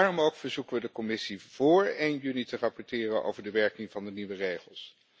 Daarom ook verzoeken we de Commissie vóór 1 juli te rapporteren over de werking van de nieuwe regels.